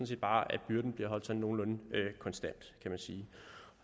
set bare at byrden bliver holdt sådan nogenlunde konstant kan man sige